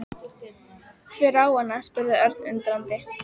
Hver á hana? spurði Örn undrandi.